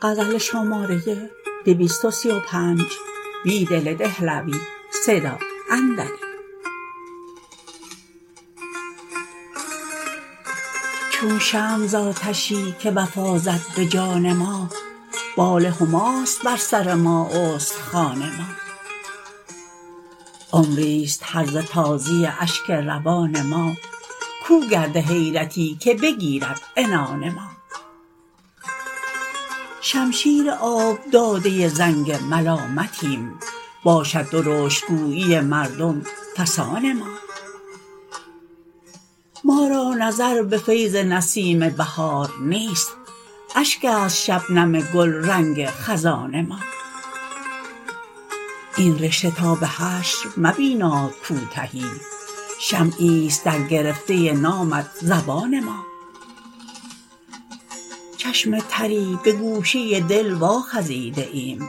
چون شمع زآتشی که وفا زد به جان ما بال هماست بر سر ما استخوان ما عمری ست هرزه تازی اشک روان ما کوگرد حیرتی که بگیرد عنان ما شمشیر آب داده زنگ ملامتیم باشد درشت گویی مردم فسان ما ما را نظربه فیض نسیم بهارنیست اشک است شبنم گل رنگ خزان ما این رشته تا به حشر مبینادکوتهی شمعی ست درگرفته نامت زبان ما چشم تری به گوشه دل واخزیده ایم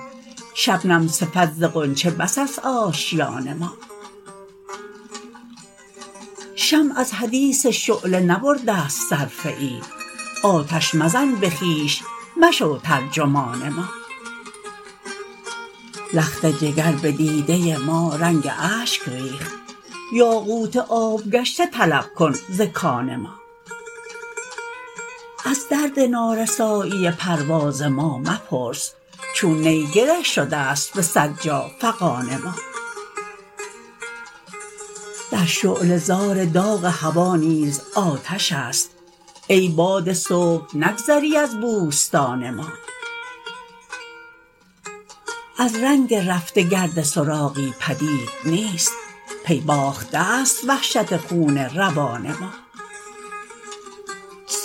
شبنم صفت زغنچه بس است آشیان ما شمع از حدیث شعله نبرد ه ست صرفه ای آتش مزن به خویش مشوترجمان ما لخت جگر به دیده ما رنگ اشک ریخت یاقوت آب گشته طلب کن ز کان ما از درد نارسایی پرواز ما مپرس چون نی گره شده ست به صد جا فغان ما در شعله زار داغ هوا نیز آتش است ای باد صبح نگذری از بوستان ما از رنگ رفته گرد سراغی پدید نیست پی باخته ست وحشت خون روان ما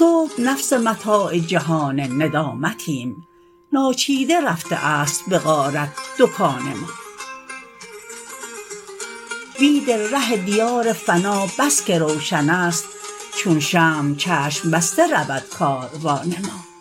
صبح نفس متاع جهان ندامتیم ناچیده رفته است به غارت دکان ما بیدل ره دیار فنا بسکه روشن است چون شمع چشم بسته رودکاروان ما